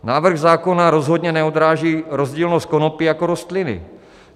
Návrh zákona rozhodně neodráží rozdílnost konopí jako rostliny.